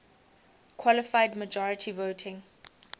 qualified majority voting